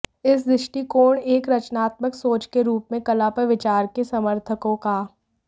इस दृष्टिकोण एक रचनात्मक सोच के रूप में कला पर विचार के समर्थकों का